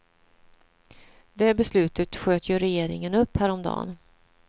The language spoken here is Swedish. Det beslutet sköt ju regeringen upp häromdagen.